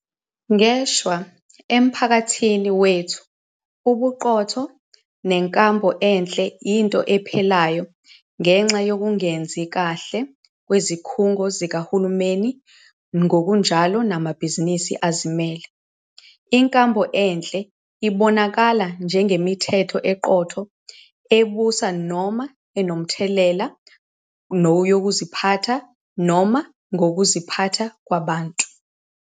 Ngeshwa, emphakathini wethu ubuqotho nenkambo enhle yinto ephelayo ngenxa yokungenzi kahle kwezikhungo zikahulumeni ngokunjalo namabhizinisi azimele. Inkambo enhle ibonakala njengemithetho eqotho ebusa noma enomthelela yokuziphatha noma ngokuziphatha kwabantu.